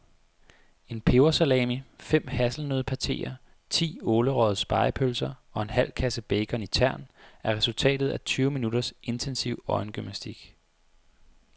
En pebersalami, fem hasselnøddepateer, ti ålerøgede spegepølser og en halv kasse bacon i tern er resultatet af tyve minutters intensiv øjengymnastik.